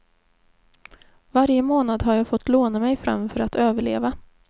Varje månad har jag fått låna mig fram för att överleva.